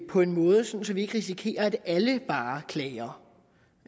på en måde så så vi ikke risikerer at alle bare klager